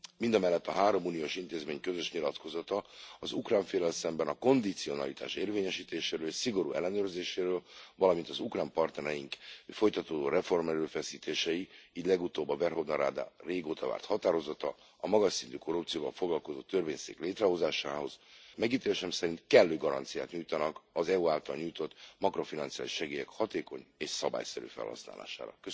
Mindemellett a három uniós intézmény közös nyilatkozata az ukrán féllel szemben a kondicionalitás érvényesítéséről és szigorú ellenőrzéséről, valamint az ukrán partnereink folytatódó reformerőfeszítései így legutóbb a Verhovna Rada régóta várt határozata a magas szintű korrupcióval foglalkozó törvényszék létrehozásáról megítélésem szerint kellő garanciát nyújtanak az EU által nyújtott makrofinanciális segélyek hatékony és szabályszerű felhasználására.